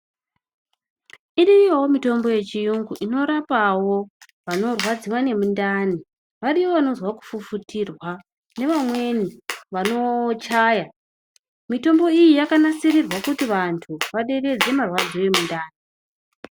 Iriyowo mitombo yechiyungu inorapawo vanorwadziwa nemundani. Variyo vanozwa kufufutirwa nevamweni vanochaya. Mitombo yakanasirirwa kuti vantu vaderedze marwadzo emundani.